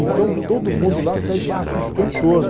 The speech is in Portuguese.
Então todo mundo lá pede o tempo todo.